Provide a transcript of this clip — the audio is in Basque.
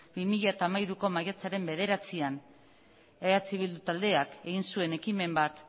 bi mila hamairuko maiatzaren bederatzian eh bildu taldeak egin zuen ekimen bat